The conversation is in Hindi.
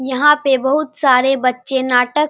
यहाँ पे बहुत सारे बच्चे नाटक --